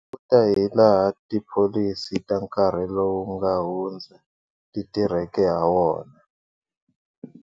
Hi languta hilaha tipholisi ta nkarhi lowu nga hundza ti tirheke hawona.